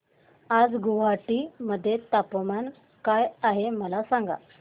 आज गुवाहाटी मध्ये तापमान काय आहे मला सांगा